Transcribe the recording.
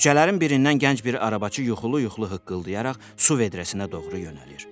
Küçələrin birindən gənc bir arabaçı yuxulu-yuxulu hıqqıldayaraq su vedrəsinə doğru yönəlir.